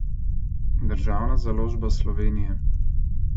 Državna založba Slovenije.